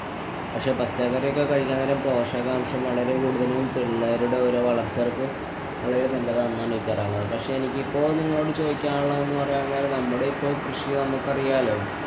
പക്ഷെ പച്ചക്കറിയൊക്കെ കഴിക്കാന്‍ നേരം പോഷകാംശം വളരെ കൂടുതലും പിള്ളേരുടെ ഓരോ വളര്‍ച്ചക്ക് വളരെ നല്ലതും ആണെന്നാണ് എനിക്ക് പറയാനുള്ളത്. എനിക്കിപ്പൊ നിങ്ങളോട് ചോദിക്കാനുള്ളതെന്നുപറയാന്‍ കാര്യം നമ്മുടെ ഇപ്പൊ കൃഷി നമുക്കറിയാലോ